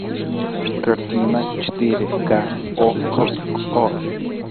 картина четыре ка окко